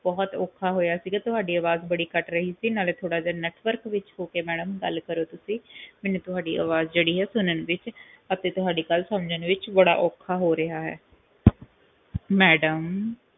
ਬਹੁਤ ਔਖਾ ਹੋਇਆ ਸੀਗਾ ਤੁਹਾਡੀ ਅਵਾਜ ਬਹੁਤ ਕੱਟ ਰਹੀ ਸੀਗੀ ਨਾਲੇ ਥੋੜਾ ਜੇਹਾ ਵਿਚ ਹੋਕੇ ਮੈਡਮ ਗੱਲ ਕਰੋ ਤੁਸੀਂ ਮੈਨੂੰ ਥੋੜੀ ਅਵਾਜ ਹੈਗੀ ਜਿਹੜੀ ਹੈਗੀ ਆ ਸੁਣਨ ਵਿਚ ਤੇ ਤੁਹਾਡੀ ਗੱਲ ਸਮਝਣ ਵਿਚ ਬੜਾ ਔਖਾ ਹੋ ਰਿਹਾ ਹੈ ਮੈਡਮ